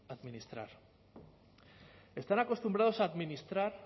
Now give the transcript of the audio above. administrar están acostumbrados a administrar